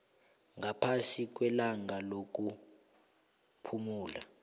ngaphasi kwelanga lokuphumula